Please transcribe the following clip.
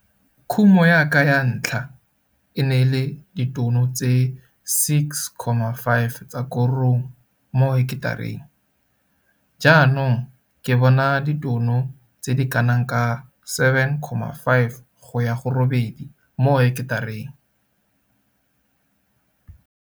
Kumo ya ka ya ntlha e ne le ditono tse 6,5 tsa korong mo heketareng. Jaanong ke bona ditono tse di ka nnang 7,5 go ya 8 mo heketareng.